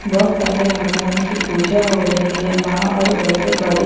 बहुत सारे भगवान की पूजा हो रही है माँ और बैठे बड़े--